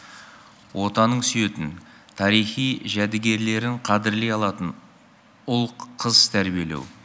отанын сүйетін тарихи жәдігерлерін қадірлей алатын ұл қыз тәрбиелеу